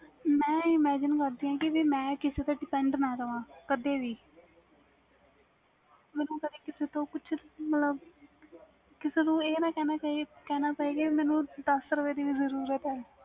ਮੈਂ imagine ਕਰਦੀ ਵ ਜੇ ਮੈਂ ਕਿਸੇ ਤੇ depend ਨਾ ਰਹਾ ਕਦੇ ਵੀ ਮੈਨੂੰ ਕਦੇ ਕਿਸੇ ਨੂੰ ਮਤਬਲ ਮੈਨੂੰ ਕਦੇ ਇਹ ਨਾ ਕਹਿਣਾ ਪਾਵੇ ਕਿ ਮੈਨੂੰ ਦਸ ਰੁਪਏ ਦੀ ਵੀ ਜਰੂਰਤ ਵ